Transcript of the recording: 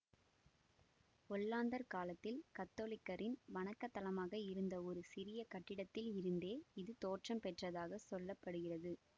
ஒல்லாந்தர் காலத்தில் கத்தோலிக்கரின் வணக்கத்தலமாக இருந்த ஒரு சிறிய கட்டிடத்தில் இருந்தே இது தோற்றம் பெற்றதாகச் சொல்ல படுகிறது